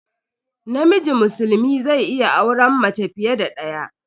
Namiji musulmi zai iya auren mace fiye da daya.